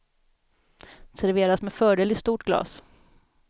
Serveras med fördel i stort glas.